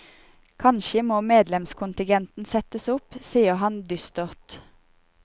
Kanskje må medlemskontingenten settes opp, sier han dystert.